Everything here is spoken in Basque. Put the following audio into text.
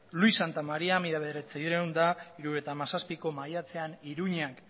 luis santamaria mila bederatziehun eta hirurogeita hamazazpiko maiatzean iruñean